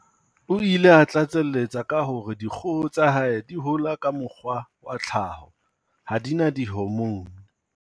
O ile a tlatseletsa ka hore dikgoho tsa hae di hola ka mokgwa wa tlhaho, ha di na dihomoune.